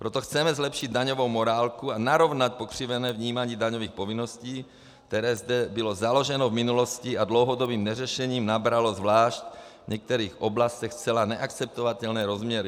Proto chceme zlepšit daňovou morálku a narovnat pokřivené vnímání daňových povinností, které zde bylo založeno v minulosti a dlouhodobým neřešením nabralo zvlášť v některých oblastech zcela neakceptovatelné rozměry.